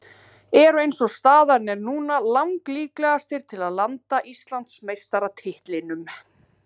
Eru eins og staðan er núna lang líklegastir til að landa Íslandsmeistaratitlinum.